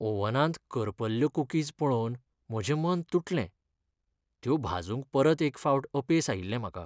ओव्हनांत करपल्ल्यो कुकीज पळोवन म्हजें मन तुटलें. त्यो भाजूंक परत एक फावट अपेस आयिल्लें म्हाका.